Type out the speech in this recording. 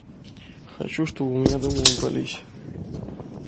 хочу чтобы у меня дома убрались